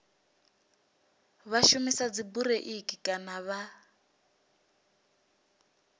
vha shumisa dzibureiḽi kana vha